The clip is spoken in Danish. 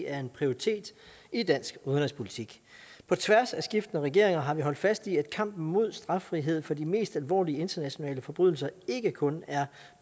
er en prioritet i dansk udenrigspolitik på tværs af skiftende regeringer har vi holdt fast i at kampen mod straffrihed for de mest alvorlige internationale forbrydelser ikke kun er